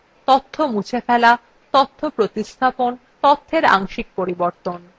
তথ্য মুছে ফেলা তথ্য প্রতিস্থাপন তথ্যের অংশিক পরিবর্তন